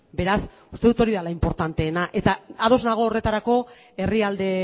beraz uste dut hori dela inportanteena eta ados nago horretarako herrialde